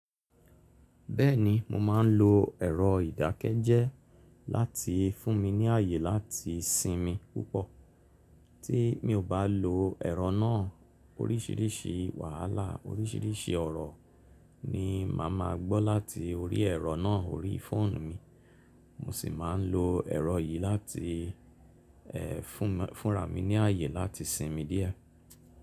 Bẹ́ẹ̀ni mo máa ń lo ẹ̀rọ ìdákẹ́jẹ́ láti fún mi ní ààyè láti sinmi púpọ̀. Tí mi ò bá lo ẹ̀rọ náà oríṣìríṣì wàhálà oríṣìríṣì ọ̀rọ̀ ni màá ma gbọ́ láti orí ẹ̀rọ náà orí fóònù mi. Mo sì máa ń lo ẹ̀rọ yìí láti fún, fúnra mi ní ààyè láti sinmi díẹ̀